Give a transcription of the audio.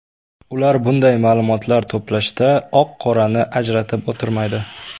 Ular bunday ma’lumotlar to‘plashda oq-qorani ajratib o‘tirmaydi.